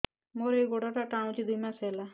ମୋର ଏଇ ଗୋଡ଼ଟା ଟାଣୁଛି ଦୁଇ ମାସ ହେଲା